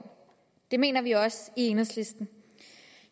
det mener vi også i enhedslisten